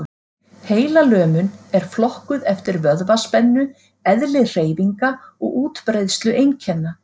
Heilalömun er flokkuð eftir vöðvaspennu, eðli hreyfinga og útbreiðslu einkenna.